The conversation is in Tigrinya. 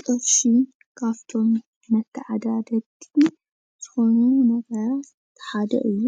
ቅርሺ ካብቶም መተዓዳደግቲ ዝኾኑ ነገራት ሓደ እዩ፡፡